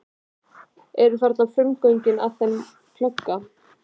Eru þarna frumgögnin að þeim glugga.